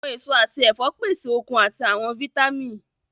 Awọn eso ati ẹfọ pese okun ati awọn vitamin